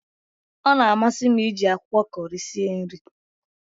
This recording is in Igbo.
Ọ na amasi m iji akwụkwọ Kọri sie nri